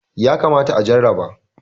yakamata a jarraba